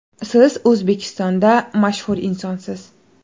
Siz O‘zbekistonda mashhur insonsiz.